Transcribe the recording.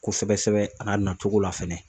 Kosɛbɛ sɛbɛ a n'a nacogo la fɛnɛ